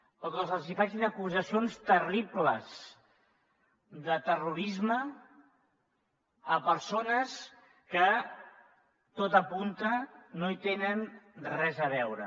o que se’ls facin acusacions terribles de terrorisme a persones que tot ho apunta no hi tenen res a veure